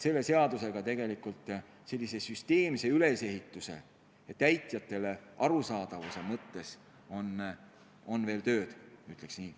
Selle seadusega on süsteemse ülesehituse ja täitjatele arusaadavuse huvides veel tööd ees, ma ütleks nii.